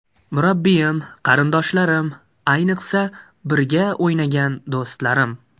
Murabbiyim, qarindoshlarim, ayniqsa, birga o‘ynagan do‘stlarim.